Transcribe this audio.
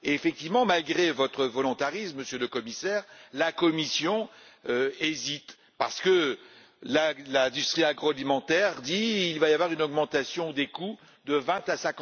Effectivement, malgré votre volontarisme, Monsieur le Commissaire, la Commission hésite parce que l'industrie agroalimentaire table sur une augmentation des coûts de 20 à